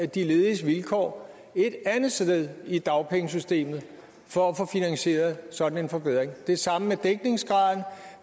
de lediges vilkår et andet sted i dagpengesystemet for at få finansieret sådan en forbedring det det samme med dækningsgraden